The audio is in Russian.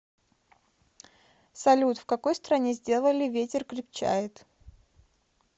салют в какой стране сделали ветер крепчает